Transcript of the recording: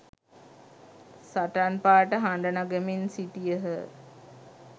සටන් පාඨ හඬ නගමින් සිටියහ